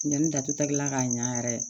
Ɲani datugula ka ɲa yɛrɛ